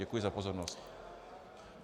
Děkuji za pozornost.